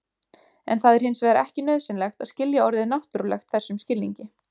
En það er hins vegar ekki nauðsynlegt að skilja orðið náttúrulegt þessum skilningi.